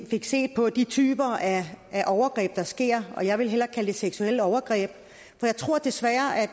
fik set på de typer af overgreb der sker og jeg vil hellere kalde det seksuelle overgreb for jeg tror desværre at